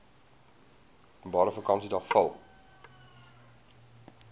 openbare vakansiedag val